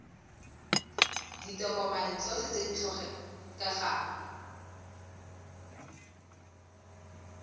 ditokomane tsotlhe tse di tlhokegang